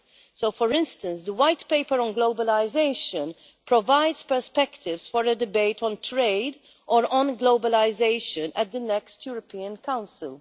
So for instance the white paper on globalisation provides perspectives for a debate on trade or on globalisation at the next European Council.